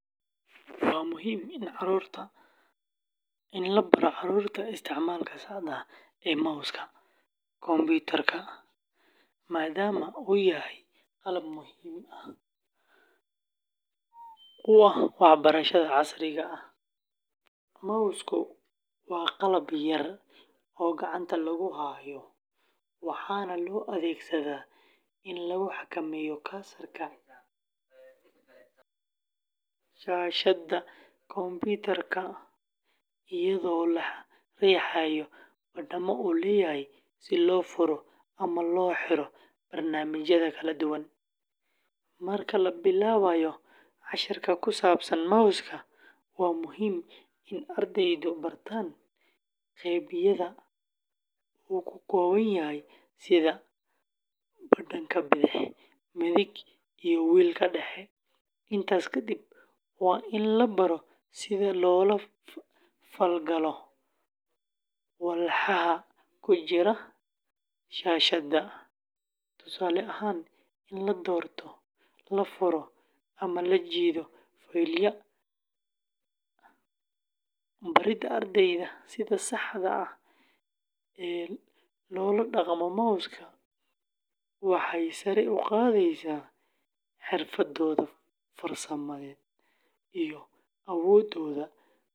Waa muhiim in la baro carruurta isticmaalka saxda ah ee mouse-ka kombiyuutarka, maadaama uu yahay qalab muhiim u ah waxbarashada casriga ah. Mouse-ku waa qalab yar oo gacanta lagu hayo, waxaana loo adeegsadaa in lagu xakameeyo cursor-ka shaashadda kombiyuutarka, iyadoo la riixayo badhamada uu leeyahay si loo furo ama loo xiro barnaamijyada kala duwan. Marka la bilaabayo casharka ku saabsan mouse-ka, waa muhiim in ardaydu bartaan qaybaha uu ka kooban yahay sida badhanka bidix, midig, iyo wheel-ka dhexe. Intaas kadib, waa in la baro sida loola falgalo walxaha ku jira shaashadda, tusaale ahaan, in la doorto, la furo ama la jiido faylal. Barida ardayda sida saxda ah ee loola dhaqmo mouse-ka waxay sare u qaadaysaa xirfadahooda farsamada iyo awoodooda.